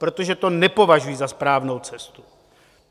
Protože to nepovažuji za správnou cestu.